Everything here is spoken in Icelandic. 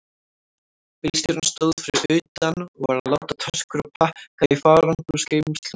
Bílstjórinn stóð fyrir utan og var að láta töskur og pakka í farangursgeymsluna.